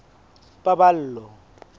paballo